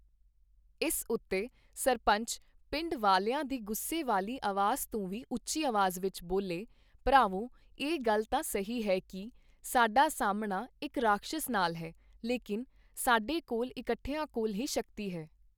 ਇਸ ਉੱਤੇ ਸਰਪੰਚ ਪਿੰਡ ਵਾਲਿਆਂ ਦੀ ਗੁੱਸੇ ਵਾਲੀ ਅਵਾਜ਼ ਤੋਂ ਵੀ ਉੱਚੀ ਅਵਾਜ਼ ਵਿੱਚ ਬੋਲੇ, ਭਰਾਵੋਂ! ਇਹ ਗੱਲ ਤਾਂ ਸਹੀ ਹੈ ਕਿ, ਸਾਡਾ ਸਾਮਣਾ ਇੱਕ ਰਾਕਸ਼ਸ ਨਾਲ ਹੈ, ਲੇਕਿਨ ਸਾਡੇ ਕੋਲ ਇਕੱਠਿਆ ਕੋਲ ਹੀ ਸ਼ਕਤੀ ਹੈ।